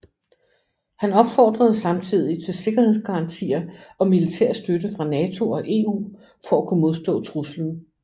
Han opfordrede samtidig til sikkerhedsgarantier og militær støtte fra NATO og EU for at kunne modstå truslen